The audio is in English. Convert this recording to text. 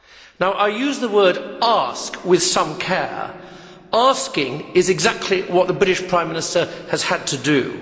Now I use the word ask' with some care. Asking is exactly what the British Prime Minister has had to do.